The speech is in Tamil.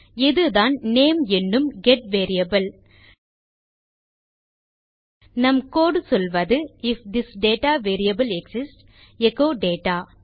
இதுதான் நேம் என்னும் கெட் வேரியபிள் நம் கோடு சொல்வது if this data variable exists echo data